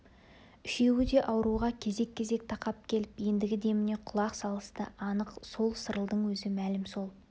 үшеуі де ауруға кезек-кезек тақап келіп ендігі деміне құлақ салысты анық сол сырылдың өзі мәлім сол